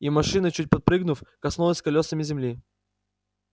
и машина чуть подпрыгнув коснулась колёсами земли